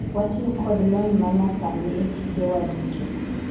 watiyo kod lony ma nya sani e tije wa duto